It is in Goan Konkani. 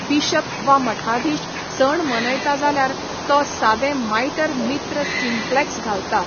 बिशप वा मठाधीश सण मनयता जाल्यार तो सादें माइटर मित्र सिम्पलेक्स घालता.